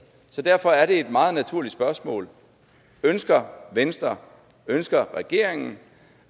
så derfor er det et meget naturligt spørgsmål ønsker venstre ønsker regeringen